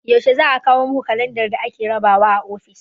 Yaushe za a kawo muku kalandar da ake rabawa a ofis?